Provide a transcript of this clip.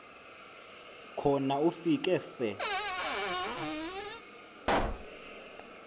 khona ufike se